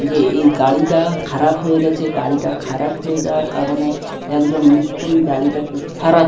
যে এই গাড়িটা খারাপ হয়ে গেছে গাড়িটা খারাপ হয়ে যাওয়ার কারণে একজন মিস্ত্রি গাড়িটাকে সারা--